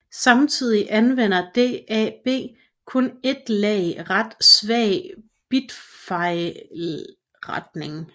Samtidig anvender DAB kun ét lag ret svag bitfejlretning